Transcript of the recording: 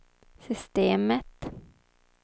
systemet